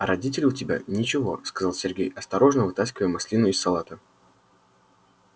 а родители у тебя ничего сказал сергей осторожно вытаскивая маслину из салата